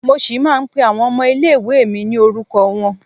Mo ṣì máa ń pé àwọn ọmọ ilé ìwée mi ní orúkọ wọn.